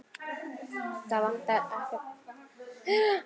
Það vantar ekkert þeirra.